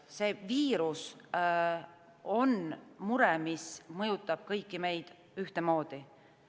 See viirus on mure, mis mõjutab kõiki meid ühtemoodi.